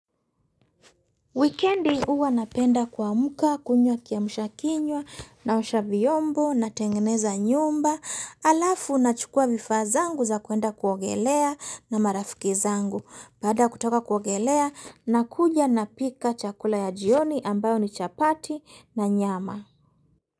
Wikendi uwa napenda kuamuka kunywa kiamusha kinywa naosha vyombo na tengeneza nyumba alafu na chukua vifaa zangu za kuenda kuogelea na marafiki zangu baada kutoka kuogelea na kuja na pika chakula ya jioni ambayo ni chapati na nyama.